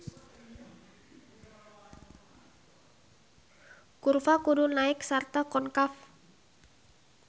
Kurva kudu naek sarta konkav.